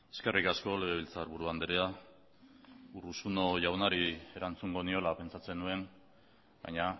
eskerrik asko legebiltzarburu andrea urruzuno jaunari erantzungo niola pentsatzen nuen baina